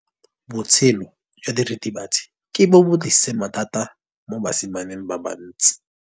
Botshelo jwa diritibatsi ke bo tlisitse mathata mo basimaneng ba bantsi.